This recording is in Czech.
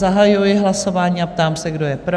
Zahajuji hlasování a ptám se, kdo je pro?